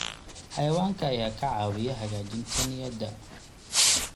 Xayawaanka ayaa ka caawiya hagaajinta niyadda.